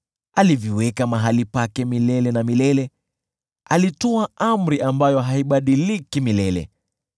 Aliviweka mahali pake milele na milele, alitoa amri ambayo haibadiliki milele.